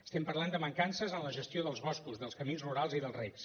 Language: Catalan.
estem parlant de mancances en la gestió dels boscos dels camins rurals i dels recs